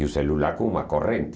E o celular com uma corrente.